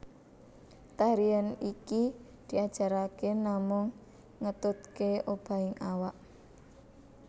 Tarian iki diajarake namung ngetutke obahing awak